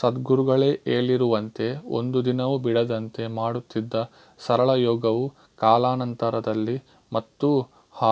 ಸದ್ಗುರುಗಳೇ ಹೇಳಿರುವಂತೆ ಒಂದು ದಿನವೂ ಬಿಡದಂತೆ ಮಾಡುತ್ತಿದ್ದ ಸರಳ ಯೋಗವು ಕಾಲಾನಂತರದಲ್ಲಿ ಮತ್ತೂ